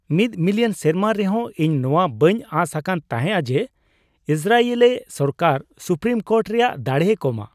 ᱢᱤᱫ ᱢᱤᱞᱤᱭᱚᱱ ᱥᱮᱨᱢᱟ ᱨᱮᱦᱚᱸ ᱤᱧ ᱱᱚᱣᱟ ᱵᱟᱹᱧ ᱟᱸᱥ ᱟᱠᱟᱱ ᱛᱟᱦᱮᱸᱜ ᱡᱮ ᱤᱥᱨᱟᱭᱮᱞᱤ ᱥᱚᱨᱠᱟᱨ ᱥᱩᱯᱨᱤᱢ ᱠᱳᱨᱴ ᱨᱮᱭᱟᱜ ᱫᱟᱲᱮᱭ ᱠᱚᱢᱟ ᱾